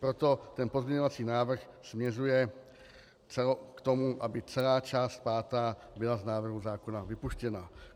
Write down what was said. Proto ten pozměňovací návrh směřuje k tomu, aby celá část pátá byla z návrhu zákona vypuštěna.